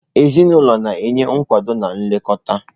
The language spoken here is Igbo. Ezinụlọ na-enye nkwado na nlekọta